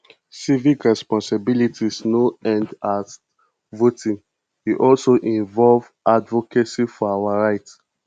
civic responsibility no end at voting e also involve advocacy for our rights